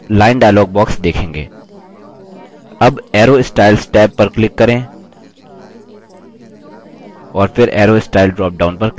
आप line dialog box देखेंगे tab arrow styles tab पर click करें और फिर arrow style dropdown पर click करें